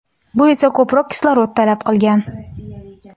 bu esa ko‘proq kislorod talab qilgan.